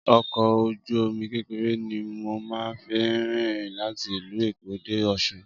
Ọkọ̀ ojú omi kékeré ni mo máa fín rìn láti ìlú Èkó dé Ọsun